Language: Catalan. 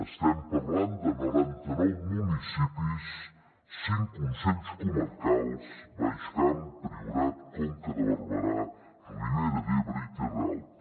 estem parlant de noranta nou municipis cinc consells comarcals baix camp priorat conca de barberà ribera d’ebre i terra alta